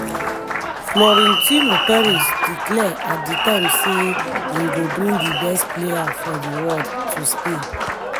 florentino perez declare at di time say im go bring di best players for di world to spain.